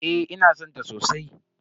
Eh ina san ta sosai.